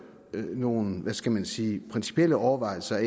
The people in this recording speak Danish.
er nogle hvad skal man sige principielle overvejelser